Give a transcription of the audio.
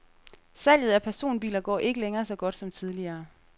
Salget af personbiler går ikke længere så godt som tidligere.